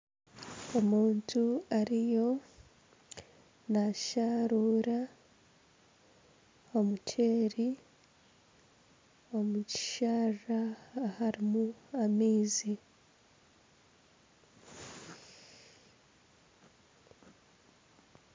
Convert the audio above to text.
Omuntu ariyo nashaarura omuceeri omu kisharara aharimu amaizi.